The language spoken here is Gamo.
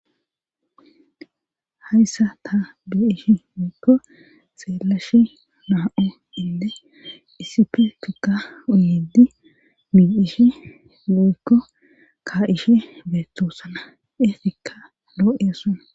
Hayssa ta be7ishi miikko xeelashi naa7o inde isipe tukka uyiddi mi7ishi muikko ka7ishe beettosana eefikka loo7eessona